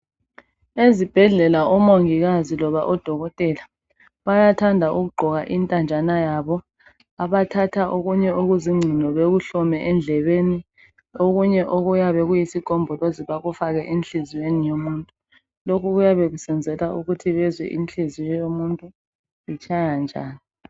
Ezibhedlela omongikazi loba odokotela bayathanda ukugqoka intanjana yabo abathatha okunye okuzingcino bekuhlome endlebeni okunye okuyabe kuyisigombolozi bakufake enhlizyweni yomuntu lokhu kuyabe kusenzelwa ukuthi bezwe inhliziyo yomuntu itshaya njani.